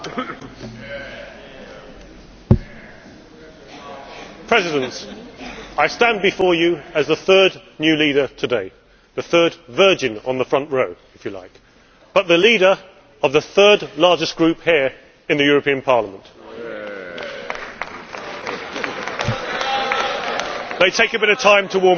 Mr President, I stand before you as the third new leader today the third virgin on the front row, if you like, but the leader of the third largest group here in the European Parliament. They take a bit of time to warm up.